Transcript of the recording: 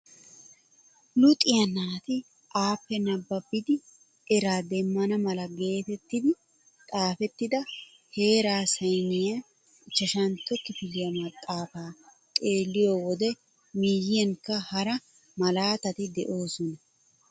Luxiyaa naati appe nababidi eraa demmana mala getettidi xaafettida heeraa sayniyaa ichchashshantto kifiliyaa maxaafaa xeelliyoo wode miyiyankka hara malataatti de'oosona.